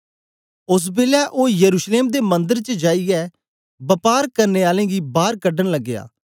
ओस बेलै ओ यरूशलेम दे मंदर च जाईयै वपार करने आलें गी बार कढन लगया